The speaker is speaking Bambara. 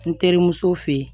N terimuso fe yen